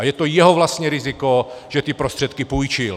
A je to jeho vlastní riziko, že ty prostředky půjčil.